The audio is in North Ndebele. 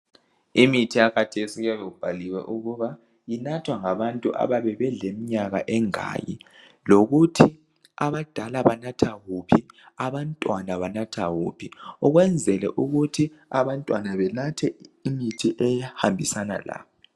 Imithi yakhathesi kuyabe kubhaliwe ukuba inathwa ngabantu abayabe belemnyaka emingaki lokuthi abadala banatha wuphi abantwana banatha wuphi ukwenzela ukuthi abantwana benathe imithi ehambisana labo.